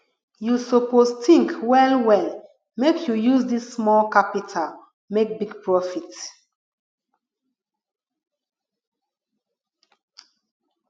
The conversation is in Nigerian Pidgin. you suppose tink wellwell make you use dis small capital make big profit